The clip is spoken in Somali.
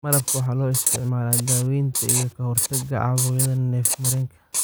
Malabka waxaa loo isticmaalaa daawaynta iyo ka hortagga caabuqyada neef-mareenka.